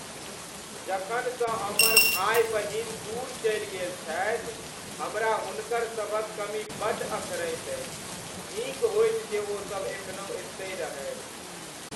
जखनसँ हमर भाय बहिन दूर चलि गेल छथि हमरा हुनकरसभक कमी बड्ड अखरैत अछि। नीक होइत जे ओसब एखनहुँ एतय रहैत।